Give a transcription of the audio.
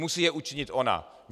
Musí je učinit ona.